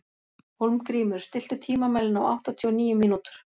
Hólmgrímur, stilltu tímamælinn á áttatíu og níu mínútur.